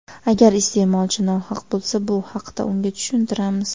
Agar iste’molchi nohaq bo‘lsa, bu haqda unga tushuntiramiz.